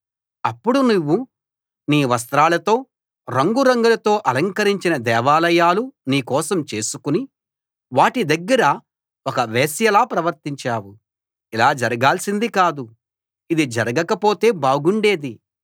అప్పుడు నువ్వు నీ వస్త్రాలతో రంగురంగులతో అలంకరించిన దేవాలయాలు నీ కోసం చేసుకుని వాటి దగ్గర ఒక వేశ్యలా ప్రవర్తించావు ఇలా జరగాల్సింది కాదు ఇది జరగక పొతే బాగుండేది